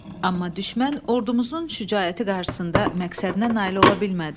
Amma düşmən ordumuzun şücaəti qarşısında məqsədinə nail ola bilmədi.